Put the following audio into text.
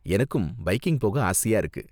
எனக்கும் பைக்கிங் போக ஆசையா இருக்கு.